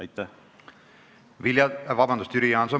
Jüri Jaanson, palun!